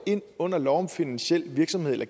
ind under lov om finansiel virksomhed eller